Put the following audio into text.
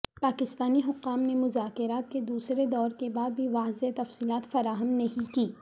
پاکستانی حکام نے مذاکرات کے دوسرے دور کے بعد بھی واضح تفصیلات فراہم نہیں کیں